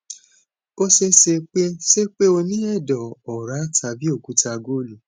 ó ṣeé ṣe pé ṣe pé o ní ẹdọ ọra tàbí okúta gọlu